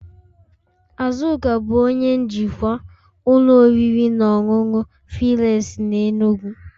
Azuka bụ onye njikwa ụlọ oriri na ọṅụṅụ filesi na enugu